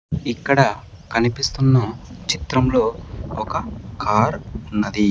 ఇక్కడ కనిపిస్తున్న చిత్రం లో ఒక కార్ ఉన్నది.